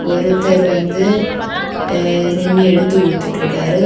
ஒருத்தர் வந்து நின்னு எடுத்து குடுத்துட்டு இருக்காரு.